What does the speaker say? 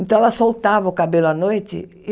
Então, ela soltava o cabelo à noite.